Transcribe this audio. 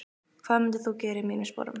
hvað myndir þú gera í mínum sporum?